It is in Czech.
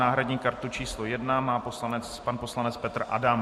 Náhradní kartu číslo 1 má pan poslanec Petr Adam.